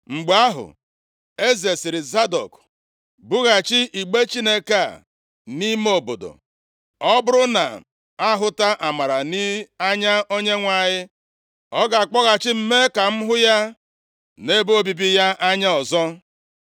Mgbe ahụ, eze sịrị Zadọk, “Bughachi igbe Chineke a nʼime obodo. Ọ bụrụ na m ahụta amara nʼanya Onyenwe anyị, ọ ga-akpọghachi m mee ka m hụ ya, na ebe obibi ya anya ọzọ.